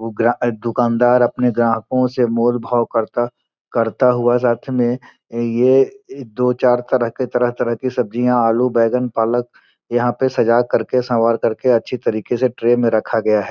दुकानदार अपने ग्राहकों से मोल भाव करता करता हुआ साथ मे ये दो चार तरह के तरह-तरह के सब्जियां आलू बैगन पालक। यहां पे सजा करके सवार करके अच्छी तरीके से ट्रे में रखा गया है।